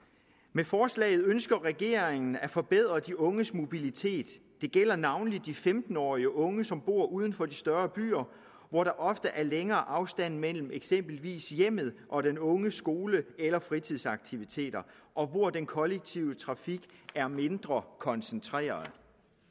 med forslaget ønsker regeringen at forbedre de unges mobilitet det gælder navnlig de femten årige unge som bor uden for de større byer hvor der ofte er længere afstande mellem eksempelvis hjemmet og den unges skole eller fritidsaktiviteter og hvor den kollektive trafik er mindre koncentreret